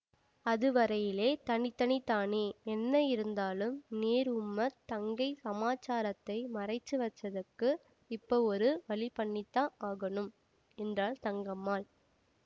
அதுவரையிலே தனி தனிதானே என்ன இருந்தாலும் நீர் உம்ம தங்கை சமாசாரத்தை மறைச்சு வச்சதுக்கு இப்ப ஒரு வழி பண்ணித்தான் ஆகணும் என்றால் தங்கம்மாள்